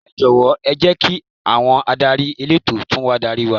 Ẹ jọ̀wọ́ ẹ jẹ́ kí àwọn adarí elétò tún wá darí wa.